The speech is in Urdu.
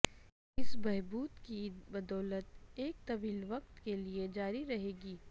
اس بہبود کی بدولت ایک طویل وقت کے لئے جاری رہے گی